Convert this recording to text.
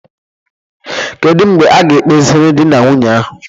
Kedu mgbe a ga ekpeziri dị na nwunye ahụ?